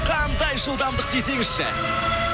қандай жылдамдық десеңізші